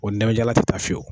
O ndamajalan ti taa fiyewu.